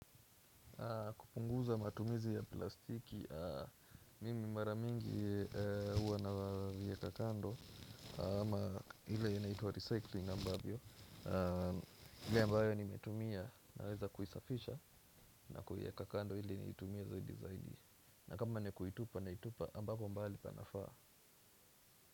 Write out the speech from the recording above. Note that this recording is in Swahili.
Kupunguza matumizi ya plastiki, mimi mara mingi huwa naviweka kando ama ile inaitwa recycling ambavyo ile ambayo nimetumia naweza kuisafisha na kuiweka kando iil niitumia zaidi zaidi na kama nikuitupa na itupa ambako mbali panafaa.